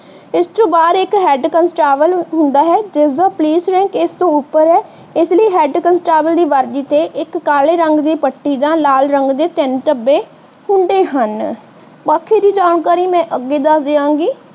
ਇਸ ਤੋਂ ਬਾਹਰ ਇਕ ਹੰਡ ਕਾਂਸਟੇਬਲ ਹੁੰਦਾ ਹੈ ਜਿਸਦੇ ਪੁਲਿਸ ਰੈਂਕ ਇਸਤੋਂ ਉੱਪਰ ਹੈ ਇਸਲਈ ਦੀ ਵਰਦੀ ਤੇ ਇਕ ਕਾਲੇ ਰੰਗ ਦੀ ਪੱਟੀ ਤੇ ਜਾਂ ਲਾਲ ਰੰਗ ਦੇ ਤਿੰਨ ਢੱਬੇ ਹੁੰਦੇ ਹੈ। ਬਾਕੀ ਦੀ ਜਾਣਕਾਰੀ ਮੈਂ ਅੱਗੇ ਦਿਆਂਗੀ।